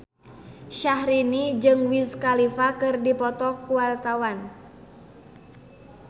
Syahrini jeung Wiz Khalifa keur dipoto ku wartawan